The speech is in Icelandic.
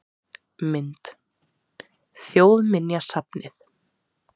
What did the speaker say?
Mynd: Þjóðminjasafnið